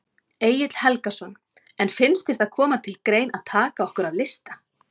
Egill Helgason: En finnst þér það koma til grein að taka okkur af lista?